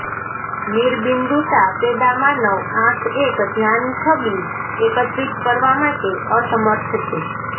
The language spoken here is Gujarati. નિર્બિન્દુતા પેદા માનવ આંખ એક ધ્યાન છબી એકત્રિત કરવા માટે અસમર્થ છે